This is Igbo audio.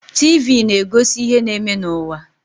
TV na-egosi ihe na-eme n'ụwa.